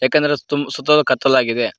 ಏಕೆಂದರೆ ಅದ್ ತುಂಬ ಸುತ್ತಲು ಕತ್ತಲಾಗಿದೆ.